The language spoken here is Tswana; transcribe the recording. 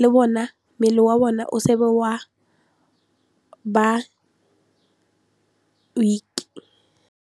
le bona mmele wa bona o seke wa ba weak.